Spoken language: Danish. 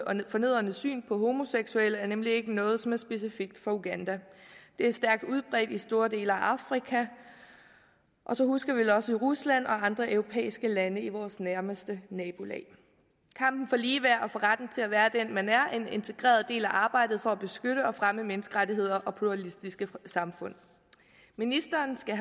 og fornedrende syn på homoseksuelle er nemlig ikke noget som er specifikt for uganda det er stærkt udbredt i store dele af afrika og så husker vi vel også i rusland og andre europæiske lande i vores nærmeste nabolag kampen for ligeværd og for retten til at være den man er er en integreret del af arbejdet for at beskytte og fremme menneskerettigheder og pluralistiske samfund ministeren skal